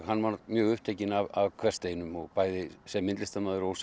hann var mjög upptekinn af hversdeginu bæði sem myndlistarmaður og